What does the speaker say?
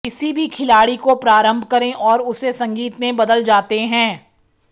किसी भी खिलाड़ी को प्रारंभ करें और उसे संगीत में बदल जाते हैं